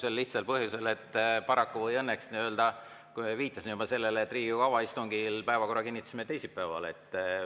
Sel lihtsal põhjusel, et paraku või õnneks, ma viitasin juba sellele, Riigikogu avaistungil me kinnitasime päevakorra teisipäeval.